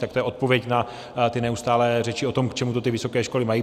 Tak to je odpověď na ty neustálé řeči o tom, k čemu to ty vysoké školy mají.